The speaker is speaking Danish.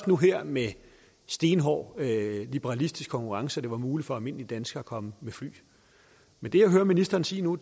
nu her med stenhård liberalistisk konkurrence at det var muligt for almindelige danskere at komme med fly men det jeg hører ministeren sige nu